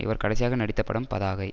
இவர் கடைசியாக நடித்தப் படம் பதாகை